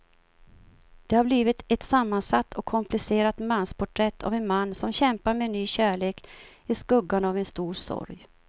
Det har blivit ett sammansatt och komplicerat mansporträtt av en man som kämpar med en ny kärlek i skuggan av en stor sorg.